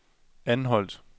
Anholt